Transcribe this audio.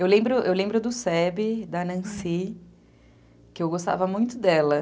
Eu lembro eu lembro do Sebe, da Nancy, que eu gostava muito dela.